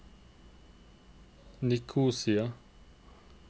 Nikosia